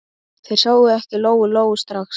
Þær sáu ekki Lóu-Lóu strax.